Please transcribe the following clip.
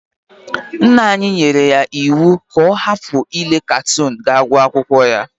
Nna anyi yere ya iwu ga o hapu ile katon ga gu akwokwo ya.